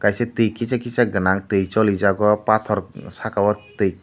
twi kisa kisa ganang twi cholijag o pathor saka o twi.